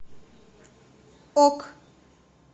ок